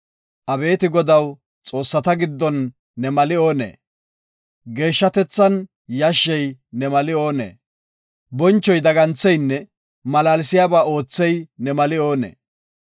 Abeeti Godaw, Xoossata giddon ne mali oonee? Geeshshatethan yashshey ne mali oonee? Bonchoy daggantheynne malaalsiyaba oothey ne mali oonee?